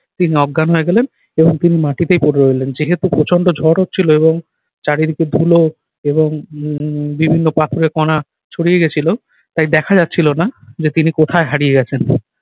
তিনি অজ্ঞান হয়ে গেলেন এবং তিনি মাটিতেই পড়ে রইলেন। যেহেতু প্রচণ্ড ঝড় হচ্ছিল এবং চারিদিকে ধুলো এবং উহ বিভিন্ন পাথুরে কণা ছড়িয়ে গেছিল তাই দেখা যাচ্ছিল না যে তিনি কোথায় হারিয়ে গেছেন।